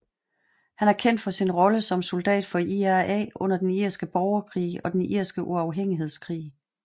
Han er kendt for sin rolle som soldat for IRA under Den irske borgerkrig og Den irske uafhængighedskrig